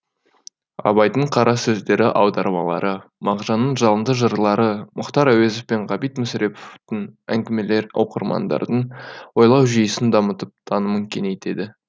абайдың қара сөздері аудармалары мағжанның жалынды жырлары мұхтар әуезов пен ғабит мүсіреповтің әңгімелері оқырмандардың ойлау жүйесін дамытып танымын кеңейтеді